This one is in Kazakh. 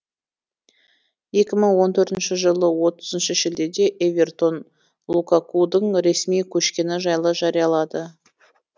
екі мың он төртінші жылы отызыншы шілдеде эвертон лукакудың ресми көшкені жайлы жариялады